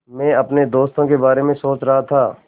मैं अपने दोस्तों के बारे में सोच रहा था